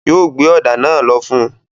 Yóò gbé ọ̀dà náà lọ fún un.